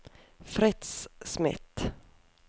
Fritz Smith